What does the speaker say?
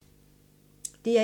DR1